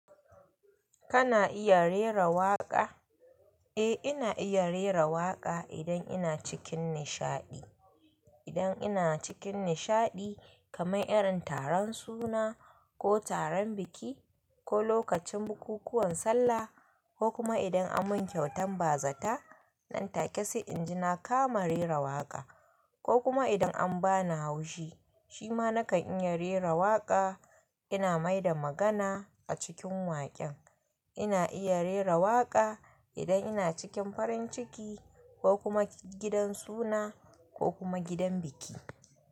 Kana iya rera waƙa? Eh, ina iya rera waƙa idan ina cikin nishaɗi. Idan ina cikin nishaɗi kamar irin taron suna ko taron biki ko lokacin bukukuwan sallah ko kuma idan an mun kyautan bazata nan take sai inji na kama rera waƙa ko kuma idan an bani haushi, shi ma nakan iya rera waƙa. Ina mai da magana a cikin waƙen. Ina iya rera waƙa idan ina cikin farin ciki ko kuma gidan suna ko kuma gidan biki.